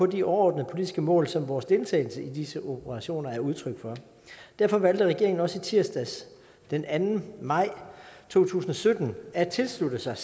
de overordnede politiske mål som vores deltagelse i disse operationer er udtryk for derfor valgte regeringen også i tirsdags den anden maj to tusind og sytten at tilslutte sig